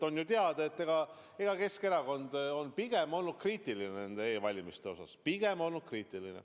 On ju teada, et Keskerakond on pigem olnud kriitiline nende e-valimiste osas, pigem olnud kriitiline.